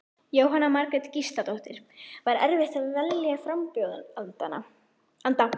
Jóhanna Margrét Gísladóttir: Var erfitt að velja frambjóðanda?